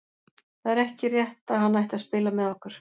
Það er ekki rétt að hann ætti að spila með okkur.